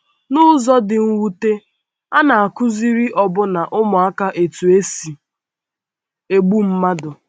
N’ụzọ dị mwute, a na - akụziri ọbụna ụmụaka otú e si egbu mmadụ.